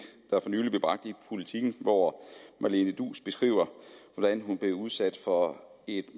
der for nylig blev bragt i politiken hvor marlene duus beskrev hvordan hun blev udsat for et